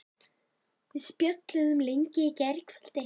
Við spjölluðum lengi í gærkvöldi.